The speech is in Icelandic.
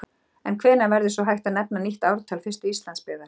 En hvenær verður svo hægt að nefna nýtt ártal fyrstu Íslandsbyggðar?